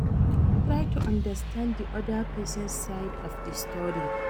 Try to understand di oda person side of di story